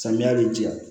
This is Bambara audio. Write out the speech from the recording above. Samiya bɛ jɛ